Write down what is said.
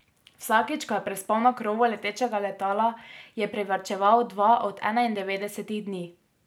Vsakič, ko je prespal na krovu letečega letala, je privarčeval dva od enaindevetdesetih dni.